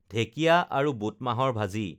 ঢেঁকীয়া আৰু বুট মাহৰ ভাজি